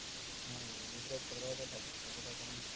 হ্যাঁ বেশির ভাগ কোলকাতাতে থাকে কোলকাতাতে যেমন